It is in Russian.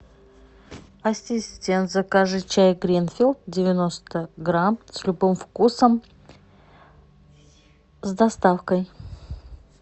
ассистент закажи чай гринфилд девяносто грамм с любым вкусом с доставкой